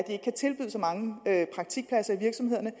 ikke kan tilbyde så mange praktikpladser i virksomhederne